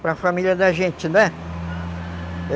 para a família da gente, né?